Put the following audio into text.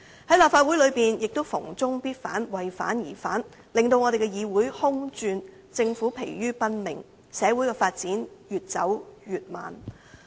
在立法會內亦逢中必反，為反而反，令議會空轉，政府疲於奔命，社會發展越走越慢。